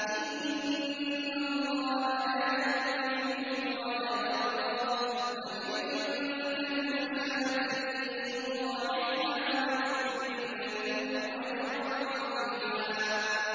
إِنَّ اللَّهَ لَا يَظْلِمُ مِثْقَالَ ذَرَّةٍ ۖ وَإِن تَكُ حَسَنَةً يُضَاعِفْهَا وَيُؤْتِ مِن لَّدُنْهُ أَجْرًا عَظِيمًا